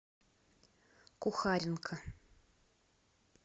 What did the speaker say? кухаренко